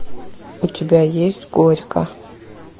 у тебя есть горько